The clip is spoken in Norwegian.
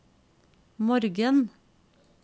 morgen